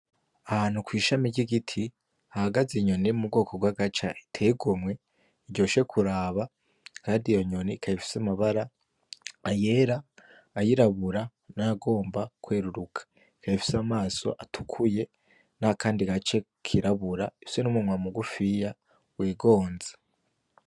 Ahantu kw'ishami ry'igiti hahagaze inyoni yo mu bwoko bw'agaca iteye igomwe iryoshe kuraba kandi iyo nyoni ikaba ifise amabara ayera ayirabura nayagomba kweruruka ikaba ifise amaso atukuye n'akandi gace kirabura ifise n'umunwa mugufiya wigonze .